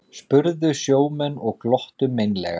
spurðu sjómenn og glottu meinlega.